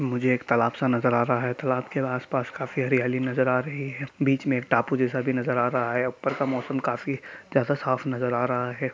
मुझे एक तालाब सा नजर आ रहा है| तालाब के आस-पास काफी हरियाली नजर आ रही है| बीच में टापू जैसा भी नजर आ रहा है| ऊपर का मौसम काफी जैसा साफ नजर आ रहा है।